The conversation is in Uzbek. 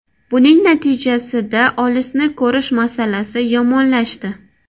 Buning natijasida olisni ko‘rish masalasi yomonlashdi.